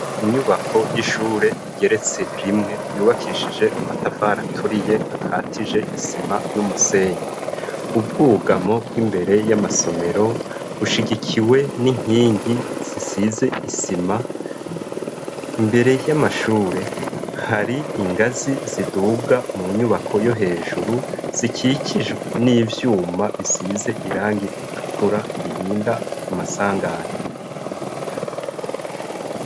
Inyubako y'ishure igeretse rimwe. Yubakishije amatafari aturiye akatije isima n'umusenyi . Ubwugamo bw'imbere y'amasomero bushigikiwe n'inkingi zisize isima. Imbere y'amashure, har'ingazi ziduga mu nyubako yo hejuru zikikijwe n'ivyuma, bisize irangi ritukura birinda amasanganya.